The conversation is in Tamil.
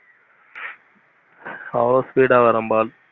அவ்வளோ speed ஆஹ் வரும் ball.